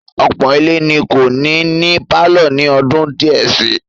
Ọ̀pọ̀ ilé ni kò ní ní pálọ̀ ní ọdún díẹ̀ si.